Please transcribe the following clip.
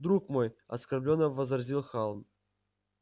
друг мой оскорблённо возразил хан